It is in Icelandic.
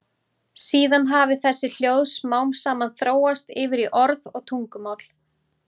Síðan hafi þessi hljóð smám saman þróast yfir í orð og tungumál.